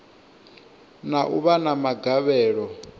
na u vha na magavhelo